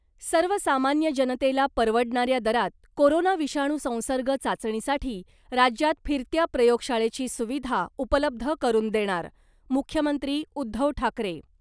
सर्व सामान्य जनतेला परवडणाऱ्या दरात कोरोना विषाणू संसर्ग चाचणीसाठी राज्यात फिरत्या प्रयोगशाळेची सुविधा उपलब्ध करून देणार, मुख्यमंत्री उद्धव ठाकरे .